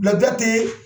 Ladiya tɛ